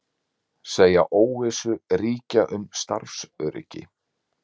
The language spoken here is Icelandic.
Segja óvissu ríkja um starfsöryggi